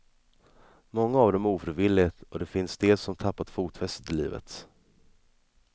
Många av dem ofrivilligt, och det finns de som tappat fotfästet i livet.